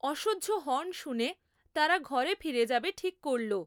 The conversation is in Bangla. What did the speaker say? অসহ্য হর্ন শুনে তারা ঘরে ফিরে যাবে ঠিক করল।